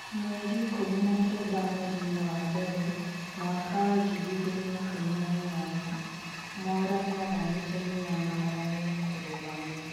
Mweri ikũmi na kenda mweri-inĩ wa mbere mwaka wa ngiri igĩrĩ na ikũmi na inyanya, Mwaura nĩathanĩte mĩnyamaranio kũrũgamio